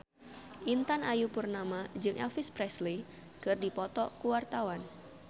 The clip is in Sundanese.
Intan Ayu Purnama jeung Elvis Presley keur dipoto ku wartawan